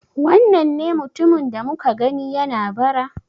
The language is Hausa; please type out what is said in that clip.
Wannan ne mutumin da muka gani yana bara?